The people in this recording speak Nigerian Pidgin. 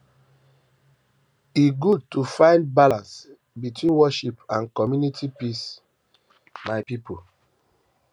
e good um to find balance between worship and community peace my um pipo